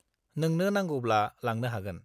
नोंनो नांगौब्ला लांनो हागोन।